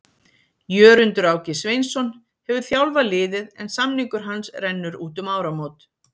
Jörundur Áki Sveinsson hefur þjálfað liðið en samningur hans rennur út um áramót.